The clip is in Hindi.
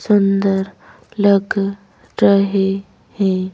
सुंदर लग रहे हैं।